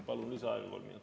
Palun lisaaega kolm minutit.